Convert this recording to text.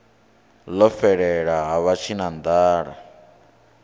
ḽo fhelela ha vha tshinanḓala